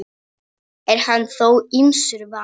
Er hann þó ýmsu vanur.